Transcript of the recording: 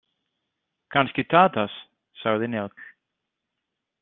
Kannski Tadas, sagði Njáll.